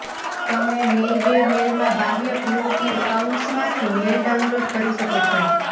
તમે મેઈ વે મેલમાં બાહ્ય પીઓપી એકાઉન્ટ્સમાંથી મેઇલ ડાઉનલોડ કરી શકો છો